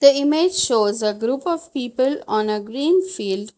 The image shows a group of people on a green field.